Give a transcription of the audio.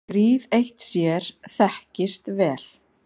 Gríð eitt sér þekkist vel.